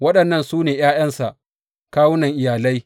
Waɗannan su ne ’ya’yansa, kawunan iyalai.